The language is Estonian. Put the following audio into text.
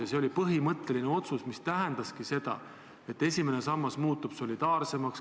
Langetatud põhimõtteline otsus tähendaski seda, et esimene sammas muutub solidaarsemaks.